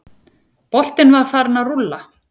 Boltinn var farinn að rúlla.